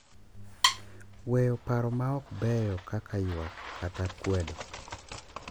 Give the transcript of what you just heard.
Weyo paro ma ok beyo kaka ywak kata kwedo,